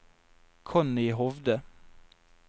Connie Hovde